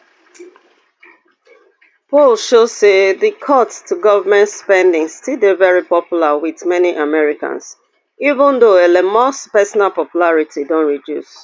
polls show say di cuts to government spending still dey very popular wit many americans even though elon musk personal popularity don reduce